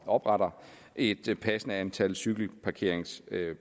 opretter et passende antal cykelparkeringspladser